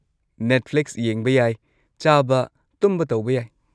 Netflix ꯌꯦꯡꯕ ꯌꯥꯏ, ꯆꯥꯕ, ꯇꯨꯝꯕ ꯇꯧꯕ ꯌꯥꯏ꯫